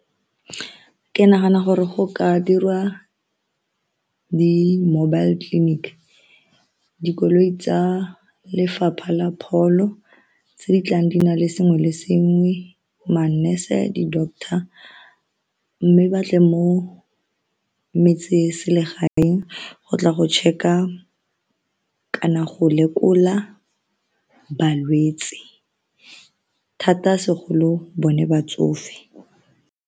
Ke nagana gore go ka dirwa di mobile clinic dikoloi tsa lefapha la pholo tse di tlang di na le sengwe le sengwe ma-nurse, di-doctor mme ba tle mo metseselegaeng go tla go check-a kana go lekola balwetse thata segolo bone batsofe.